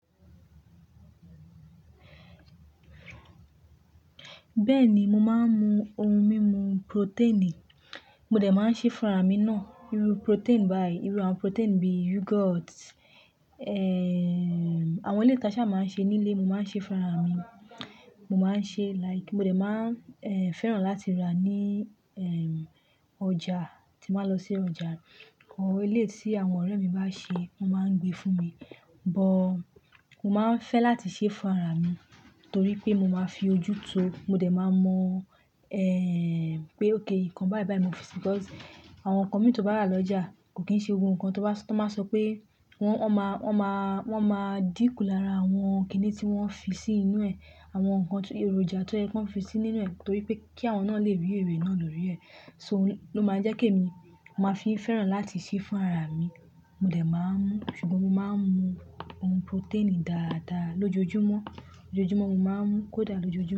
Bẹ́ẹ̀ni, mo máa ń mu ohun mímu protein. Mo dẹ̀ máa ń ṣe fún ara mi náà. Iru protein bayii, iru àwọn protein bí yogurt. Ehn, àwọn eleyii ta ṣà máa ń ṣe ní ilé, mo máa ń ṣe fún ara mi. Mo máa ń ṣe like mo dẹ̀ máa, ehn, fẹ́ràn láti rà ní, ehn, ọjà tín bà lọ sí ọjà. Ohun eléyi tí àwọn ọ̀rẹ́ mi bá ṣe, wọ́n máa ń gbé fún mi. But mo máa ń fẹ́ láti ṣe fún ara mi torí pé mo máa fi ojú tó, mo dẹ̀ máa mọ, pé ókay nǹkan bayi bayi mo fi sí. Because àwọn nkan mi tó bá rà lọ́jà kò kín ṣe gbogno nǹkan tó bá, tó máa sọ pé wọ́n, wọ́n má, wọ́n má, wọ́n máa dínkù lára àwọn kìnì tí wọ́n fi sí inú ẹ̀, àwọn nǹkan èròjà tó ye pe wọ́n fi sí nínú ẹ̀ torí pé kí àwọn náà lè rí ère náà ló rí ẹ̀. So ló máa ń jẹ́kí èmi, mo máa fi ń fẹ́ràn láti ṣe fún ara mi. Mo dẹ̀ máa ń mú ṣùgbọ́n mo máa ń mu ohun protein dáadáa lójoojúmọ́. Lójojúmọ́ mo máa ń mu. Kódà lójoojúmọ́